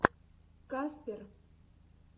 каспер